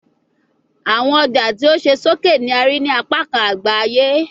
Awọn ọja ti o ṣe soke ni a rii ni apakan agba aye